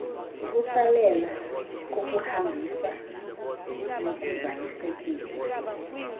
ukusalela kokuhambisa nokuzalisekisa